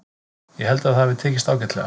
Ég held að það hafi tekist ágætlega.